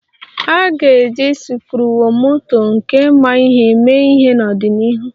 A ga-eji sikruokwomoto nke ma ihe mee ihe n'ọdịnihu